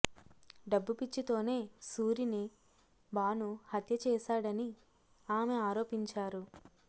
డబ్బు పిచ్చితోనే సూరిని భాను హత్య చేశాడని ఆమె ఆరోపించారు